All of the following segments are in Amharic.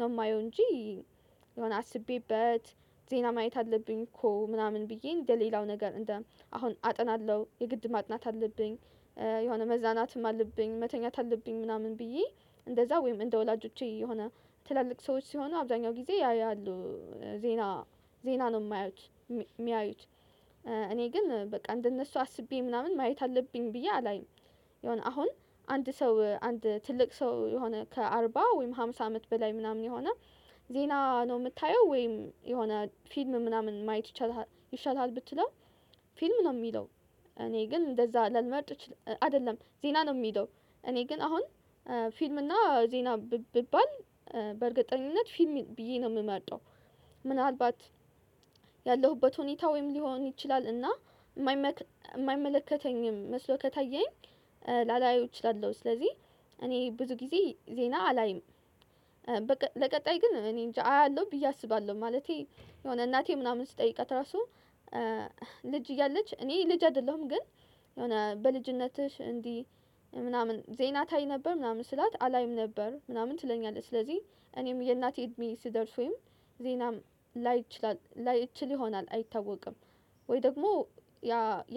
ነው የማየው እንጂ የሆነ አስቤበት ዜና ማየት አለብኝ እኮ ምናምን ብዬ እንደሌላው ነገር እንደ አሁን አጠናለሁ የግድ ማጥናት አለብኝ። የሆነ መዝናናትም አለብኝ መተኛት አለብኝ ምናምን ብዬ እንደዛ ወይም እንደ ወላጆቼ የሆነ ትላልቅ ሰዎች ሲሆኑ አብዛኛው ጊዜ ያያሉ ዜና ዜና ነው የማያዩት የሚያዩት እኔ ግን በቃ እንደነሱ አስቤ ምናምን ማየት አለብኝ ብዬ አላይም። የሆነ አሁን አንድ ሰው አንድ ትልቅ ሰው የሆነ ከአርባ ወይም አምሳ አመት በላይ ምናምን የሆነ ዜና ነው የምታየው ወይም የሆነ ፊልም ምናምን ማየት ይቻልሃል ይሻልሃል ብትለው ፊልም ነው የሚለው እኔ ግን እንደዛ ላልመርጥ እች አይደለም ዜና ነው የሚለው እኔ ግን አሁን ፊልም እና ዜና ብባል በእርግጠኝነት ፊልም ብዬ ነው የምመርጠው። ምናልባት ያለሁበት ሁኔታ ወይም ሊሆን ይችላል እና የማይመለከተኝም መስሎ ከታየኝ ላላየው እችላለሁ ስለዚህ እኔ ብዙ ጊዜ ዜና አላይም። ለቀጣይ ግን እኔንጃ አያለሁ ብዬ አስባለሁ ማለቴ የሆነ እናቴ ምናምን ስትጠይቃት ራሱ ልጅ እያለች እኔ ልጅ አይደለሁም ግን የሆነ በልጅነትሽ እንዲህ ምናምን ዜና ታይ ነበር ምናምን ስላት አላይም ነበር ምናምን ትለኛለች ስለዚህ እኔም የእናቴ እድሜ ስደርስ ወይም ዜናም ላይ እችላል ላይ እችል ይሆናል አይታወቅም። ወይ ደግሞ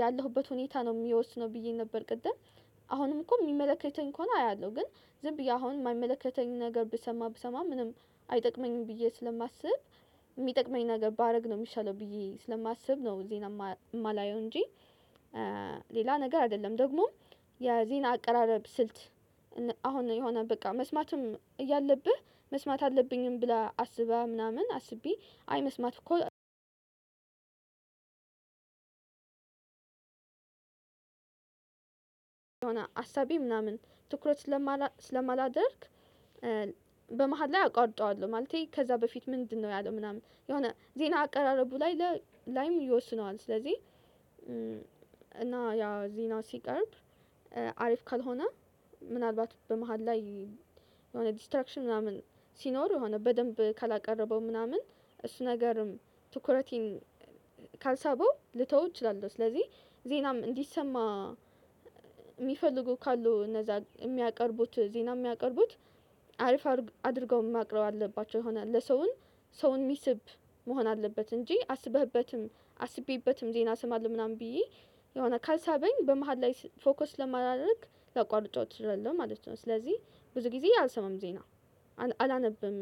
ያለሁበት ሁኔታ ነው የሚወስነው ብዬ ነበር ቅድም አሁንም እኮ የሚመለከተኝ ከሆነ አያለሁ ግን ዝም ብዬ አሁን የማይመለከተኝ ነገር ብሰማ ብሰማ ምንም አይጠቅመኝም ብዬ ስለማስብ የሚጠቅመኝ ነገር ባደርግ ነው የሚሻለው ብዬ ስለማስብ ነው ዜና የማላየው እንጂ። ሌላ ነገር አይደለም ደግሞ የዜና አቀራረብ ስልት አሁን የሆነ በቃ መስማትም እያለብህ መስማት አለብኝም ብላ አስበህ ምናምን አስቤ አይ መስማት እኮ የሆነ አሳቤ ምናምን ትኩረት ስለማላደርግ በመሃል ላይ አቋርጠዋለሁ ማለቴ ከዛ በፊት ምንድነው ያለው ምናምን የሆነ ዜና አቀራረቡ ላይ ላይም ይወስነዋል ስለዚህ። እና ያ ዜና ሲቀርብ አሪፍ ካልሆነ ምናልባት በመሃል ላይ የሆነ ዲስትራክሽን ምናምን ሲኖር የሆነ በደንብ ካላቀረበው ምናምን እሱ ነገርም ትኩረቴን ካልሳበው ልተው እችላለሁ ስለዚህ ዜናም እንዲሰማ የሚፈልጉ ካሉ እነዛ የሚያቀርቡት ዜና የሚያቀርቡት አሪፍ አድርገው ማቅረብ አለባቸው የሆን ለሰውን ሰውን የሚስብ መሆን አለበት እንጂ አስበህበትም አስቤበትም ዜና እሰማለሁ ምናምን ብዬ የሆነ ካልሳበኝ በመሃል ላይ ፎከስ ስለማላደርግ ላቋርጠው እችላለው ማለት ነው ስለዚህ ብዙ ጊዜ አልሰማም ዜና። አላነብም